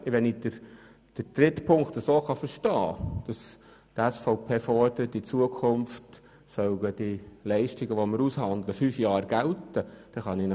Wenn ich Ziffer 3 richtig verstehe, fordert die SVP, dass die Leistungen neu für fünf Jahre ausgehandelt werden sollen.